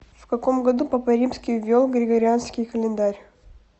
в каком году папа римский ввел григорианский календарь